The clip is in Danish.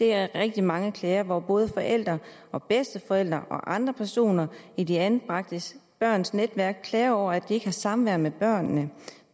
er rigtig mange klager hvor både forældre og bedsteforældre og andre personer i de anbragte børns netværk klager over at de ikke har samvær med børnene og